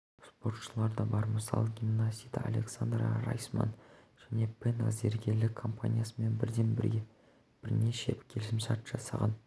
спортшылар да бар мысалы гимнаст александра райсман және пен зергерлік компаниясымен бірден бірнеше келісімшарт жасаған